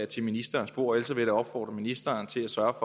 til ministerens bord ellers vil jeg da opfordre ministeren til at sørge